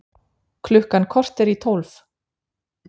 Klukkan korter í tólf